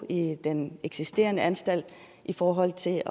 i den eksisterende anstalt i forhold til